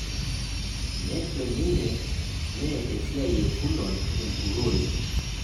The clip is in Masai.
Nejo ninye me esia e Fulod empurore